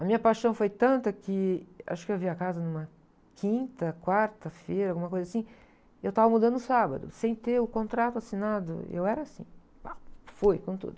A minha paixão foi tanta que, acho que eu vi a casa numa quinta, quarta-feira, alguma coisa assim, eu estava mudando no sábado, sem ter o contrato assinado, eu era assim, pá, foi, com tudo.